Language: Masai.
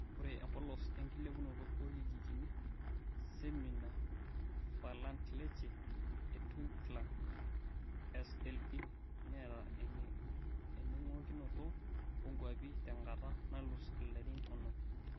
Ore empolos enkilepunoto orkijijini(Seminar für Ländliche Entwicklung, SLE)netaa eningokinoto onkwapi tenkata nalus ilarin onom.